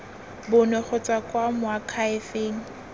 bonwe go tswa kwa moakhaefeng